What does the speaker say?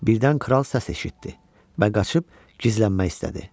Birdən kral səs eşitdi və qaçıb gizlənmək istədi.